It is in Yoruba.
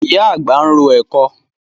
Ìyá àgbà ń ro ẹ̀kọ.